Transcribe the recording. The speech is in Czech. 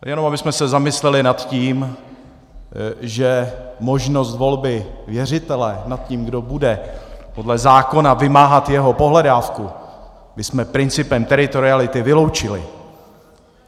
Jenom abychom se zamysleli nad tím, že možnost volby věřitele nad tím, kdo bude podle zákona vymáhat jeho pohledávku, bychom principem teritoriality vyloučili.